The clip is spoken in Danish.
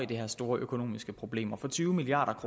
de her store økonomiske problemer med tyve milliard